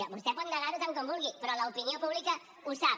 vostè pot negar ho tant com vulgui però l’opinió pública ho sap